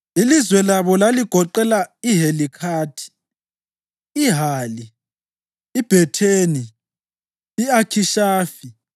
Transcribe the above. Ilizwe labo laligoqela: iHelikhathi, iHali, iBhetheni, i-Akhishafi,